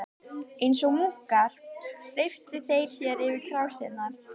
Eins og múkkar steyptu þeir sér yfir krásirnar.